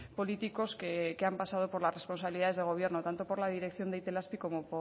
políticos que han pasado por las responsabilidades de gobierno tanto por la dirección de itelazpi como